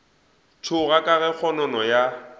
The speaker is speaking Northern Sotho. tšhoga ka ge kgonono ya